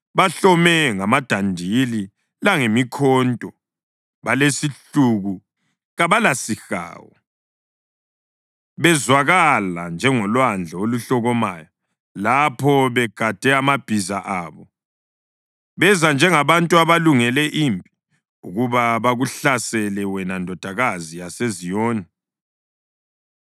Bahlome ngamadandili langemikhonto, balesihluku kabalasihawu. Bezwakala njengolwandle oluhlokomayo lapho begade amabhiza abo, beza njengabantu abalungele impi ukuba bakuhlasele, wena Ndodakazi yaseZiyoni.”